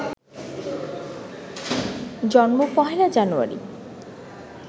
জন্ম ১লা জানুয়ারি